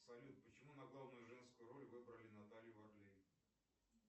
салют почему на главную женскую роль выбрали наталью варлей